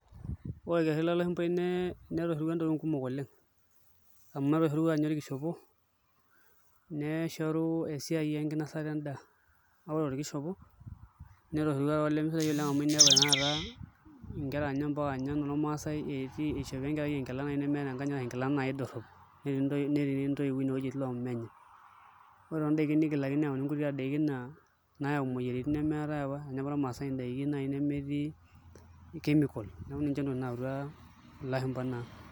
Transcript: Ore orkerrin lo lashumbai netoshorua ntokitin kumok oleng' amu etoshorua ninye orkishopo neshoru esiai enkinasata endaa ore torkishopo netoshorua taa olemesidai amu inepu tanakata nkera inye mpaka inye inormaasai ishopo enkerai enkila naai nemeeta enkanyit ashu enkila dorrop netii ntoiwuo inewueji etii loomenye, ore toondaiki nayauaki nkuti daiki naa nayau imuoyiaritin nemeetai apa enaya apa irmaasai ndaiki nemetii chemical neeku ninche ntokitin nayautua ilashumba naa.